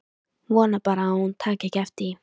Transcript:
Vona bara að hún taki ekki eftir því.